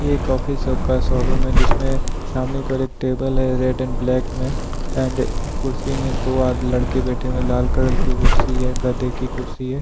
एक ऑफिसर का शोरूम है जिसमें सामने को एक टेबल है रेड एंड ब्लैक में एंड कुर्सी में दो आज लड़के बैठे में लाल कलर की कुर्सी है गद्दे की कुर्सी है।